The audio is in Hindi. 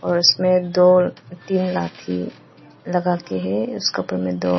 फर्श में दो तीन लाठी लगाके है उसका उपर मे दो--